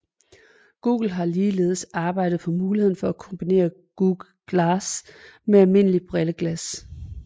Google har ligeledes arbejdet på muligheden for at kombinere Google Glass med almindelige brilleglas